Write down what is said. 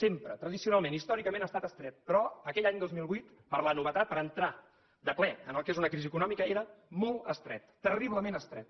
sempre tradicionalment històricament ha estat estret però aquell any dos mil vuit per la novetat per entrar de ple en el que és una crisi econòmica era molt estret terriblement estret